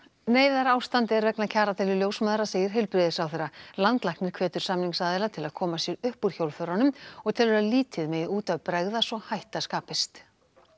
neyðarástand er vegna kjaradeilu ljósmæðra segir heilbrigðisráðherra landlæknir hvetur samningsaðila til að koma sér upp úr hjólförunum og telur að lítið megi út af bregða svo hætta skapist